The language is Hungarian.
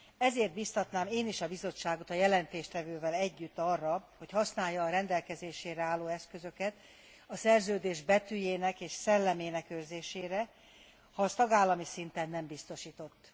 Ezért biztatnám én is a Bizottságot a jelentéstevővel együtt arra, hogy használja a rendelkezésére álló eszközöket, a szerződés betűjének és szellemének őrzésére, ha az tagállami szinten nem biztosított.